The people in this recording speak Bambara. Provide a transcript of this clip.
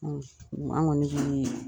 an kɔni .